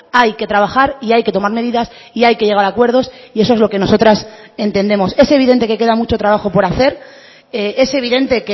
hay que trabajar y hay que tomar medidas y hay que llegar a acuerdos y eso es lo que nosotras entendemos es evidente que queda mucho trabajo por hacer es evidente